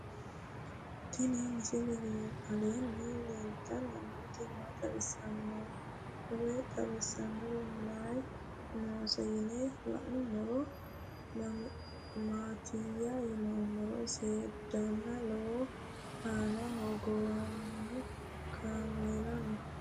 Tenni misile aleenni leelittanni nootti maa leelishshanno woy xawisannori may noosse yinne la'neemmori maattiya yinummoro seedanna lowo manna hogowanno kaammeella noo